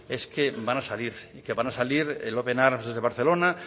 es que van a salir y que van a salir el open arms desde barcelona